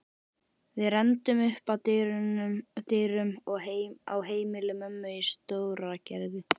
Við renndum upp að dyrum á heimili mömmu í Stóragerði.